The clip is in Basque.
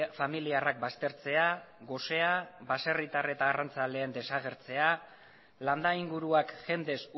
familiarrak baztertzea gosea baserritar eta arrantzaleen desagertzea landa inguruak jendez